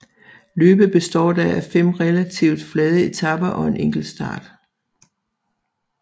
Løbet bestod da af fem relativt flade etaper og en enkeltstart